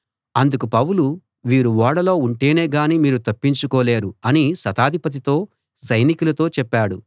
అందుకు పౌలు వీరు ఓడలో ఉంటేనే గాని మీరు తప్పించుకోలేరు అని శతాధిపతితో సైనికులతో చెప్పాడు